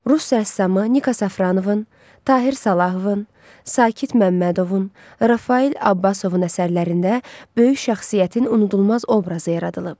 Rus rəssamı Nika Safranovun, Tahir Salahovun, Sakit Məmmədovun, Rafael Abbasovun əsərlərində böyük şəxsiyyətin unudulmaz obrazı yaradılıb.